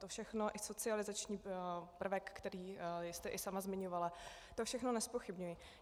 To všechno, i socializační prvek, který jste i sama zmiňovala, to všechno nezpochybňuji.